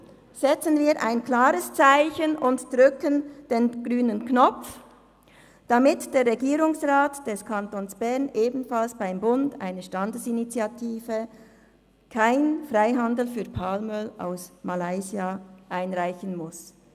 Setzen wir ein klares Zeichen und drücken den grünen Knopf, damit der Regierungsrat des Kantons Bern beim Bund ebenfalls eine Standesinitiative «Kein Freihandel für Palmöl aus Malaysia» einreichen muss.